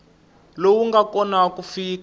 lowu nga kona ku fika